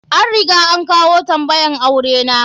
An riga an kawo tambayan aure na.